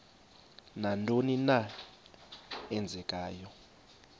nantoni na eenzekayo